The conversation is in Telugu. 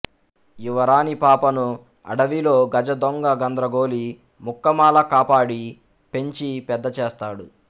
యువరాణి పాపను అడవిలో గజదొంగ గంద్రగోళి ముక్కామల కాపాడి పెంచి పెద్దచేస్తాడు